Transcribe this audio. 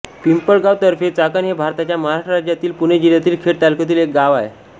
पिंपळगाव तर्फे चाकण हे भारताच्या महाराष्ट्र राज्यातील पुणे जिल्ह्यातील खेड तालुक्यातील एक गाव आहे